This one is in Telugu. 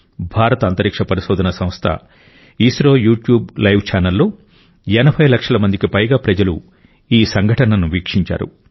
భారత అంతరిక్ష పరిశోధన సంస్థ ఇస్రో యూట్యూబ్ లైవ్ ఛానెల్లో 80 లక్షల మందికి పైగా ప్రజలు ఈ సంఘటనను వీక్షించారు